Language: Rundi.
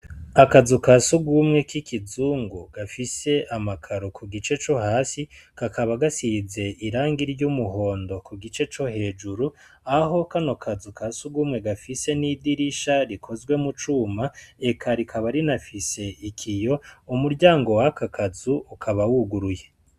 Akazu ka sugumwe k'ikizungu gafise amakaro kugice co hasi kakaba gasize irangi ry'umuhondo kugice co hejuru aho kano kazu kasugumwe gafise n'idirisha rikozwe mucuma eka rikaba rinafise ikiyo umuryango wakakazu ukaba wuguruye.